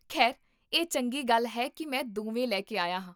ਖੈਰ, ਇਹ ਚੰਗੀ ਗੱਲ ਹੈ ਕੀ ਮੈਂ ਦੋਵੇਂ ਲੈ ਕੇ ਆਇਆ ਹਾਂ